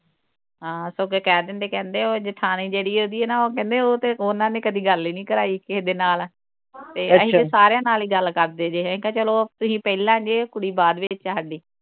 ਹਾਂ ਸਗੋਂ ਅੱਗੇ ਕਹਿ ਦਿੰਦੇ ਕਹਿੰਦੇ ਉਹ ਜੇਠਾਣੀ ਜਿਹੜੀ ਉਹਦੀ ਆ ਨਾ ਉਹ ਕਹਿੰਦੇ ਉਹ ਤੇ ਉਨ੍ਹਾਂ ਨੇ ਕਦੀ ਗੱਲ ਹੀ ਨੀ ਕਰਾਈ ਕਹਿ ਦੇ ਨਾਲ ਅਹੀ ਫਿਰ ਸਾਰਿਆਂ ਨਾਲ ਹੀ ਗੱਲ ਕਰਦੇ ਜੇ ਅਹੀ ਕਹਿ ਚਲੋ ਤੁਹੀ ਪਹਿਲਾਂ ਜੇ ਕੁੜੀ ਬਾਅਦ ਵਿਚ ਹਾਡੀ